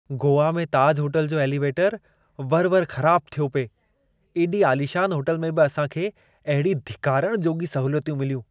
गोवा में ताज होटल जो एलिवेटरु वरि - वरि ख़राबु थियो पए। एॾी आलीशान होटल में बि असां खे अहिड़ी धिकारण जोॻी सहूलियतूं मिलियूं।